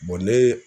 ne